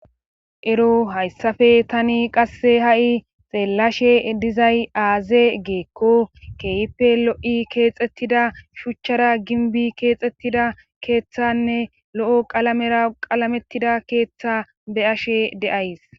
ero hayssappe tani qasse ha'i xeellashe dizay aaze geekko keeyippe lo'i keexxettida shuuchchara ginbbi keexettida keeththanne lo'o qalamera qalamettida keeththa be'ashe de'ays